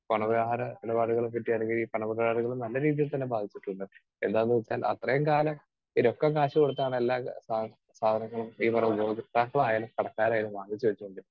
Speaker 2 പണ വ്യവഹാര ഇടപാടുകളെ പറ്റിയാണെങ്കിൽ പണമിടപാടുകൾ നല്ല രീതിയിൽ തന്നെ ബാധിച്ചിട്ടുണ്ട്. എന്താന്ന് വെച്ചാൽ അത്രയും കാലം രൊക്കം കാശു കൊടുത്താണ് എല്ലാ സാ സാധനങ്ങളും ഈ പറയുന്ന ഉപഭോക്താക്കളായാലും കടക്കാരായാലും വാങ്ങിച്ചു വച്ചുകൊണ്ടിരുന്നത്.